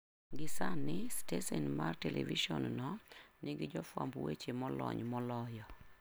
Gi sani, stesen mar televisonno nigi jofwamb weche molony moloyo.